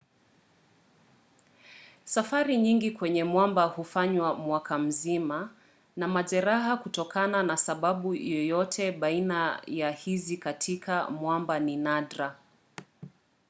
safari nyingi kwenye mwamba hufanywa mwaka mzima na majeraha kutokana na sababu yoyote baina ya hizi katika mwamba ni nadra